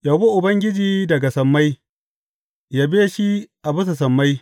Yabi Ubangiji daga sammai, yabe shi a bisa sammai.